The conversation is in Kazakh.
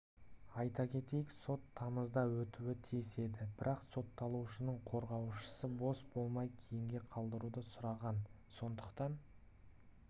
айта кетейік сот тамызда өтуі тиіс еді бірақ сотталушының қорғаушысы бос болмай кейінге қалдыруды сұраған сондықтан